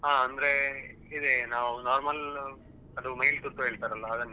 ಹಾ ಅಂದ್ರೆ ಇದೇ ನಾವ್ normal ಮೈಲು ತುತ್ತು ಹೇಳ್ತಾರಲ್ವ ಅದನ್ನೇ.